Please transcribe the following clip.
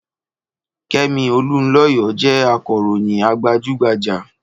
Kẹ́mi Olunlọyọ jẹ́ akọ̀ròyìn gbajúgbajjà.